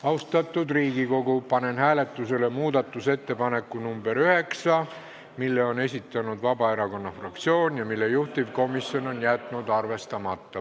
Austatud Riigikogu, panen hääletusele muudatusettepaneku nr 9, mille on esitanud Vabaerakonna fraktsioon ja mille juhtivkomisjon on jätnud arvestamata.